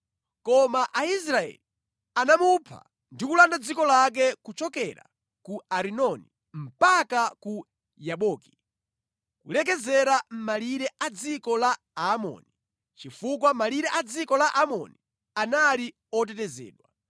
Koma Aisraeli anamupha ndi kulanda dziko lake kuchokera ku Arinoni mpaka ku Yaboki, kulekezera mʼmalire a dziko la Aamoni, chifukwa malire a dziko la Aamoni anali otetezedwa.